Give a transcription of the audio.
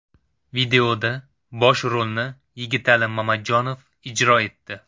Videoda bosh rolni Yigitali Mamajonov ijro etdi.